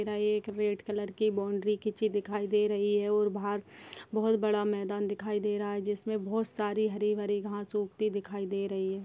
एक red colour की boundary खिची दिखाई दे रही है और बाहर बहोत बड़ा मैदान दिखाई दे रहा है जिसमें बहुत सारी हरी भरी घास उगती दिखाई दे रही है।